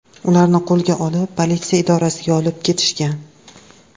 Ularni qo‘lga olib, politsiya idorasiga olib ketishgan.